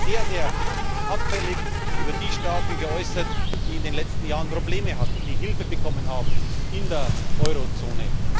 Aber er hat sich sehr, sehr abfällig über die Staaten geäußert, die in den letzten Jahren Probleme hatten, die Hilfe bekommen haben in der Eurozone.